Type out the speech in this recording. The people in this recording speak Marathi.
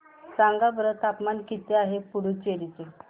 सांगा बरं तापमान किती आहे पुडुचेरी चे